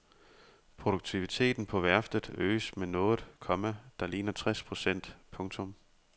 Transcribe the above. Produktiviteten på værftet øges med noget, komma der ligner tres procent. punktum